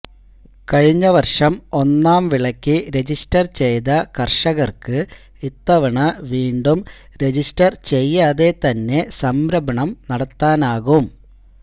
കഴിഞ്ഞ വർഷം ഒന്നാം വിളയ്ക്ക് രജിസ്റ്റർ ചെയ്ത കർഷകർക്ക് ഇത്തവണ വീണ്ടും രജിസ്റ്റർ ചെയ്യാതെ തന്നെ സംഭരണം നടത്താനാകും